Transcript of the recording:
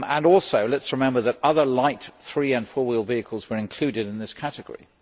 Also let us remember that other light three and four wheel vehicles were included in this category.